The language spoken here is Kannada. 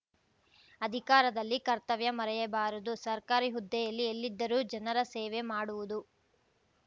ಅಧಿಕಾರದಲ್ಲಿ ಕರ್ತವ್ಯ ಮರೆಯಬಾರದು ಸರ್ಕಾರಿ ಹುದ್ದೆಯಲ್ಲಿ ಎಲ್ಲಿದ್ದರೂ ಜನರ ಸೇವೆ ಮಾಡುವುದು